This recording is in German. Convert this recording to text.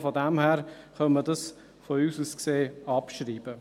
Von dem her könnte man das unserer Ansicht nach abschreiben.